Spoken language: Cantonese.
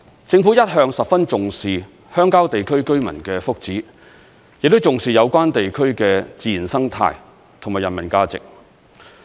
政府一向十分重視鄉郊地區居民的福祉，亦重視有關地區的自然生態和人文價值。